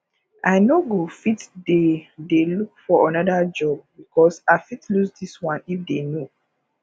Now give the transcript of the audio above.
i no go fit dey dey look for another job because i fit loose this one if they know